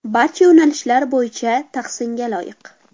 Barcha yo‘nalishlar bo‘yicha tahsinga loyiq.